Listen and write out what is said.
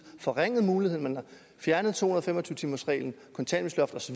forringet mulighederne man har fjernet to hundrede og fem og tyve timersreglen kontanthjælpsloft